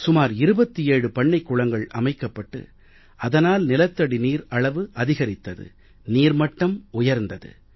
சுமார் 27 பண்ணைக் குளங்கள் அமைக்கப்பட்டு அதனால் நிலத்தடி நீர் அளவு அதிகரித்தது நீர் மட்டம் உயர்ந்தது